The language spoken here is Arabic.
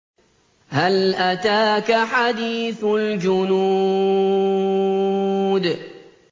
هَلْ أَتَاكَ حَدِيثُ الْجُنُودِ